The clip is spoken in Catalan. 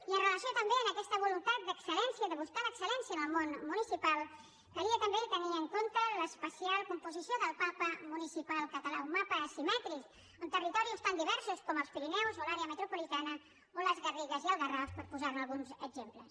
i amb relació també a aquesta voluntat d’excel·de buscar l’excel·lència en el món municipal calia també tenir en compte l’especial composició del mapa municipal català un mapa asimètric amb territoris tan diversos com els pirineus o l’àrea metropolitana o les garrigues i el garraf per posar ne alguns exemples